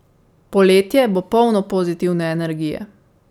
Poletje bo polno pozitivne energije.